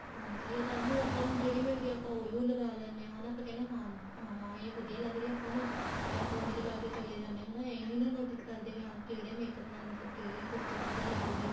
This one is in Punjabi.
ਹਾਂਜੀ ਇਹ ਤਾਂ ਏ ਹੁਣ ਆਪਾਂ ਨੂੰ ਜਿਹੜੀ ਮਿਲਦੀ ਆ ਆਪਾਂ ਉਹੀ ਉਹ ਲਗਾ ਲੈਣੇ ਆ ਹਨਾ ਆਪਾਂ ਕਹਿਣੇ ਹਾਂ ਏ ਵਧੀਆ ਲੱਗ ਰਹੀ ਏ ਆਪਾਂ ਨੂੰ ਤਾਂ ਆਪਾਂ ਉਹੀ ਲਗਾਕੇ ਚਲੇ ਜਾਂਦੇ ਹਾਂ ਹਨਾ ਇਹ ਨਹੀਂ ਨਾ notice ਕਰਦੇ ਵੀ ਹਾਂ ਕਿਹੜੇ makeup ਨਾਲ ਮਤਲਬ ਕਿਹੜੀ lipstick ਵਧੀਆ ਲੱਗੂਗੀ